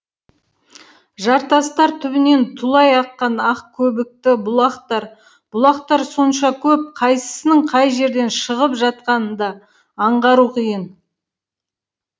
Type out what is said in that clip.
жартастар түбінен тулай аққан ақ көбікті бұлақтар бұлақтар сонша көп қайсысының қай жерден шығып жатқанын да аңғару қиын